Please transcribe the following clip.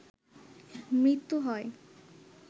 মৃত্যু হয়